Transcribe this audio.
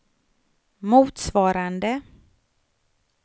motsvarande